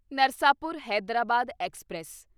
Narsapur Hyderabad express